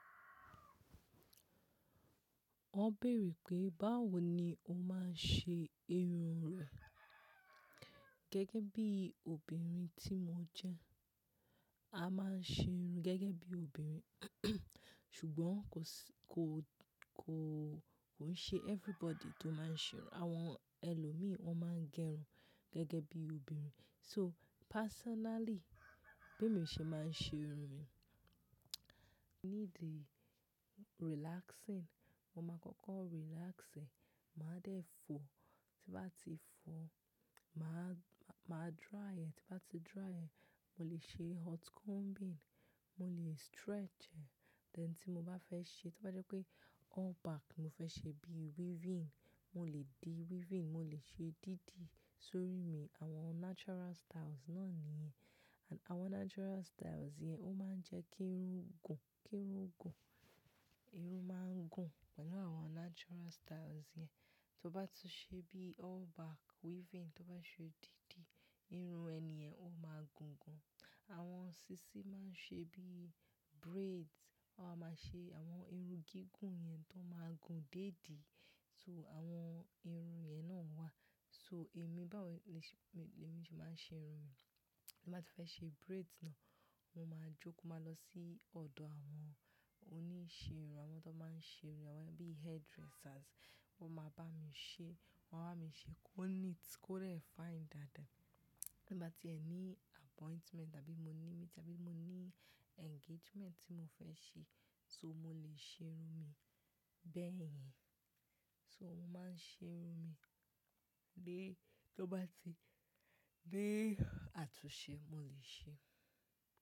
Wọ́n béèrè pé báwo ni o máa ń ṣe irun rẹ. Gẹ́gẹ́ bí obìnrin tí mo jẹ́, a máa ń ṣe irun gẹ́gẹ́ bí obìnrin. Ṣùgbọ́n kò sí-- kò, kò, kò ń ṣe everybody tó máa ń ṣe irun. Àwọn ẹlòmíràn wọ́n máa ń gẹ irun gẹ́gẹ́ bí obìnrin. So personally, bí mo ṣe máa ń ṣe irun mi, ní the relaxing, mo máa kọ́kọ́ relax ẹ́, màá dẹ̀ fo, tí bá ti fo, màá, màá dry ẹ́, tí bá ti dry ẹ́, mo lè ṣe hot combing, mo lè stretch ẹ́, then tí mo bá fẹ́ ṣe, tí bá jẹ́ pé all back mo fẹ́ ṣe bí weaving, mo lè di weaving, mo lè ṣe dídi sórí mi. Àwọn natural styles náà nìyẹn. And àwọn natural styles yẹn ó máa ń jẹ́ kí irun gùn, kí irun gùn. Irun máa ń gùn pẹ̀lú àwọn natural styles yẹn. Tí ó bá tún ṣe bí all back weaving, tí ó bá ṣe dídi, irun ẹni yẹn ó máa gùn gan. Àwọn sísin máa ń ṣe bí braids, wọ́n á máa ṣe àwọn irun gígùn yẹn tó máa gùn déèdì. So àwọn irun yẹn náà wà. So èmi báwo le ṣe-- èmi tí màá ń ṣe irun mi, tí bá ti fẹ́ ṣe braids náà, mo máa jókòó máa lọ sí ọ̀dọ̀ àwọn oníṣẹ irun, àwọn tó máa ń ṣe irun, àwọn bí hairdressers. Wọ́n máa bá mi ṣe, wọ́n á bá mi ṣe kó neat, kó rẹ fine dáadáa. Tí bá ti ẹ ní appointment àbí mo ní meeting, àbí mo ní engagement tí mo fẹ́ ṣe, so mo lè ṣe irun mi bẹ́ẹ̀ yẹn. So mo máa ń ṣe irun mi lé tí ó bá ti-- lé àtúnṣe mo lè ṣe.